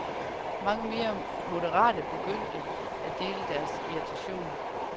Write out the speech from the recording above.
Mange mere moderate begyndte at dele deres irritation.